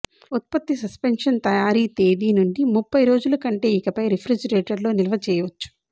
ఉత్పత్తి సస్పెన్షన్ తయారీ తేదీ నుండి ముప్పై రోజుల కంటే ఇకపై రిఫ్రిజిరేటర్ లో నిల్వ చేయవచ్చు